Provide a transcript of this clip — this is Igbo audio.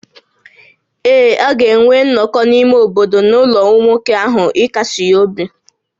Ee, a ga-enwe nnọkọ nke ime obodo n’ụlọ nwoke ahụ ịkasi ya obi